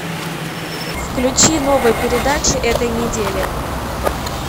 включи новые передачи этой недели